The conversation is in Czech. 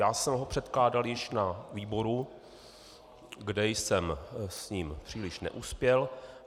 Já jsem ho předkládal již na výboru, kde jsem s ním příliš neuspěl.